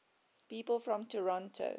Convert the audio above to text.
people from toronto